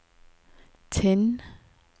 Tinn